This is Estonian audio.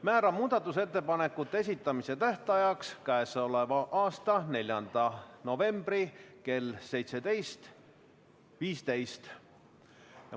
Määran muudatusettepanekute esitamise tähtajaks k.a 4. novembri kell 17.15.